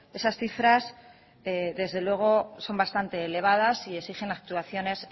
esas cifras desde luego son bastante elevadas y exigen actuaciones